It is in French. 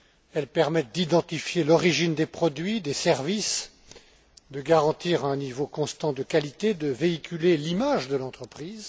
Elles permettent d'identifier l'origine des produits et des services, de garantir un niveau constant de qualité, de véhiculer l'image de l'entreprise.